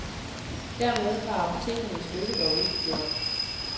Dermed var apotekernes lykke dog ikke gjort.